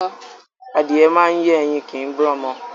Adìyẹ máa ń yé ẹyin kìí bí ọmọ